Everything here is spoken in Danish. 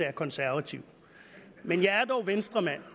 er konservativ men jeg er dog venstremand